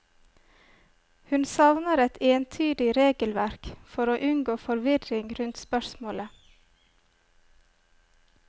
Hun savner et entydig regelverk for å unngå forvirring rundt spørsmålet.